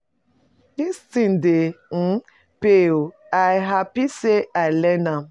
Dis thing dey um pay oo, i happy say I learn am.